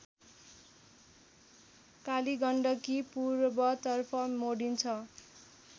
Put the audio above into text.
कालीगण्डकी पूर्वतर्फ मोडिन्छ